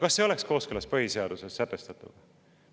Kas see oleks kooskõlas põhiseaduses sätestatuga?